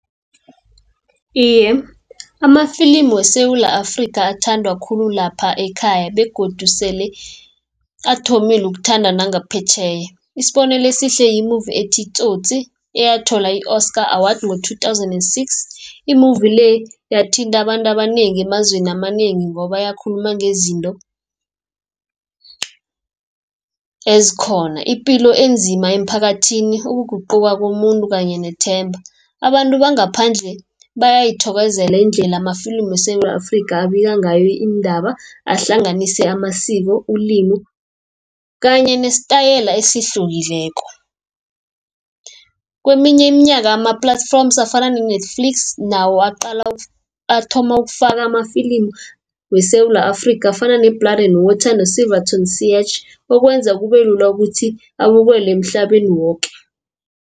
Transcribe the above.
Iye, amafilimi weSewula Afrika athandwa khulu lapha ekhaya begodu sele athomile ukuthandwa nangaphetjheya isibonelo esihle yi-movie ethi, i-Tsotsi eyathola i-oscar award ngo-two thousand and six. I-movie le yathinta abantu abanengi emazweni amanengi ngoba yakhuluma ngezinto ezikhona ipilo enzima emphakathini ukuguquka komuntu kanye nethemba. Abantu bangaphandle bayayithokozela indlela amafilimi weSewula Afrika abika ngayo iindaba ahlanganise amasiko, ilimi kanye nesitayela esihlukileko. Kweminye iminyaka ama-platforms afana ne-Netflix nawo athoma ukufaka amafilimi weSewula Afrika afana ne-Blood and Water, Silverton Siege okwenza kube lula ukuthi abukelwe emhlabeni woke.